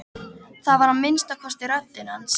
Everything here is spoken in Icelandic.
Það var að minnsta kosti röddin hans.